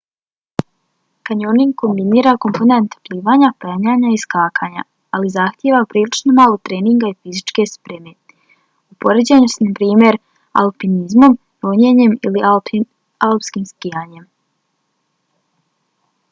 kanjoning kombinira komponente plivanja penjanja i skakanja ali zahtijeva prilično malo treninga ili fizičke spreme u poređenju s naprimjer alpinizmom ronjenjem ili alpskim skijanjem